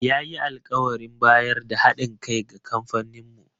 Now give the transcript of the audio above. Ya yi alkawarin bayar da ha ɗin kai ga kamfaninmu.